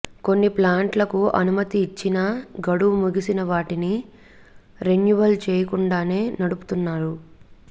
కొన్ని ప్లాంట్లకు అనుమతి ఇచ్చినా గడువు ముగిసిన వాటిని రెన్యువల్ చేయకుండానే నడుపుతున్నారు